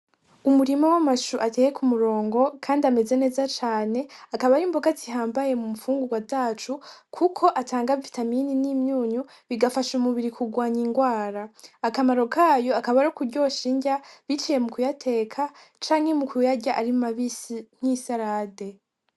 umurima w'amashu ateye ku murongo, kandi ameze neza cane. Akaba ari imboga zihambaye mu mfungurwa zacu, kuko atanga vitamine n'imyunyu; bigafasha umubiri kurwanya indwara. Akamaro kayo akaba ari ukuryosha indya, biciye mu kuyateka canke mu kuyarya ari mabisi nk'isarade.